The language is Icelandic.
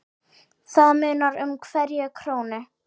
Það munar um hverja krónu.